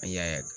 A y'a